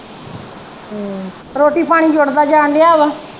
ਰੋਟੀ ਪਾਣੀ ਜੁੜਦਾ ਜਾਣ ਦਿਆ ਵਾ।